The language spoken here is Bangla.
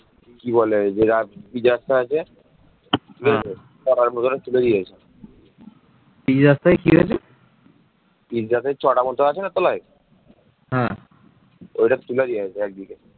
দিল্লি সালতানাত এবং শাহী বাংলার সুলতানদের সময় ইউরোপবাসীরা বাংলাকে পৃথিবীর সবচেয়ে ধনী বাণিজ্যিক দেশ রূপে গণ্য করত এরপর বাংলা মুঘলদের অধিকারে চলে আসে